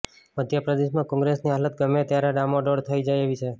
મધ્ય પ્રદેશમાં કોંગ્રેસની હાલત ગમે ત્યારે ડામાડોળ થઇ જાય એવી છે